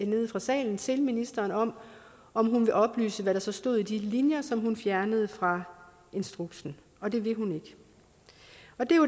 nede fra salen til ministeren om om hun vil oplyse hvad der så stod i de linjer som hun fjernede fra instruksen og det vil hun ikke